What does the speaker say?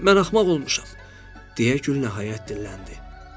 Mən axmaq olmuşam, deyə gül nəhayət dilləndi.